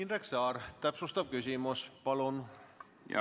Indrek Saar, täpsustav küsimus, palun!